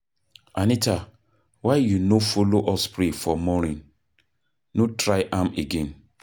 Anita why you no follow us pray for morning? No try am again